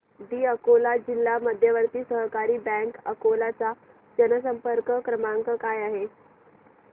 दि अकोला जिल्हा मध्यवर्ती सहकारी बँक अकोला चा जनसंपर्क क्रमांक काय आहे